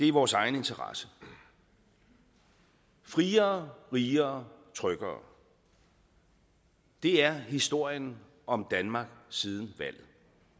i vores egen interesse friere rigere og tryggere det er historien om danmark siden valget